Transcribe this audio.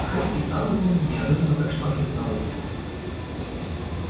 хэтти тарлтон неожиданно пришла к нему на выручку